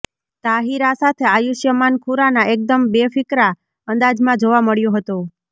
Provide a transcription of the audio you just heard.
તાહિરા સાથે આયુષ્માન ખુરાના એકદમ બેફિકરા અંદાજમાં જોવા મળ્યો હતો